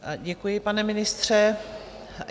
Děkuji, pane ministře.